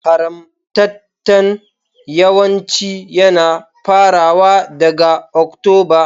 Harmattan yawanci yana farawa daga Oktoba.